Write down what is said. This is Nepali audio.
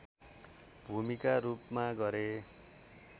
भूमिका रूपमा गरे